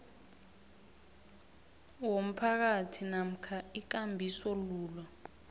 womphakathi namkha ikambisolwulo